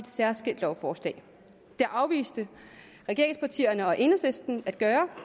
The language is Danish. særskilt lovforslag det afviste regeringspartierne og enhedslisten at gøre